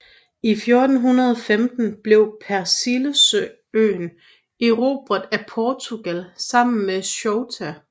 I 1415 blev Persilleøen erobret af Portugal sammen med Ceuta